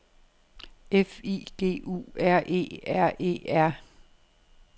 F I G U R E R E R